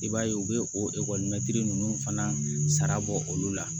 I b'a ye u bɛ o ninnu fana sara bɔ olu la